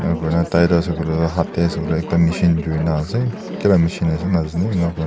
enakurina taitoh sawokoile toh haat te sawo le ekta machine durina ase kila machine ase najane ena kurina.